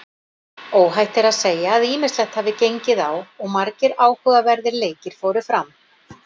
Óhætt er að segja að ýmislegt hafi gengið á og margir áhugaverðir leikir fóru fram.